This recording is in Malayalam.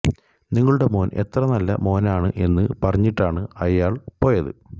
നിങ്ങളുടെ മോന് എത്ര നല്ല മോനാണ് എന്ന് പറഞ്ഞിട്ടാണ് അയാളന്ന് പോയത്